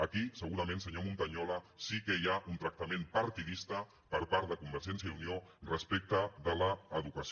aquí segurament senyor montañola sí que hi ha un tractament partidista per part de convergència i unió respecte de l’educació